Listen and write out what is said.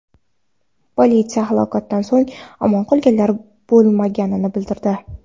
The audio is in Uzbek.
Politsiya halokatdan so‘ng omon qolganlar bo‘lmaganini bildirdi.